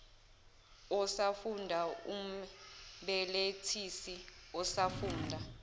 osafunda umbelethisi osafunda